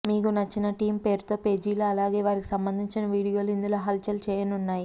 మీకు నచ్చిన టీమ్ పేరుతోపేజీలు అలాగే వారికి సంబంధించిన వీడియోలో ఇందులో హల్ చల్ చేయనున్నాయి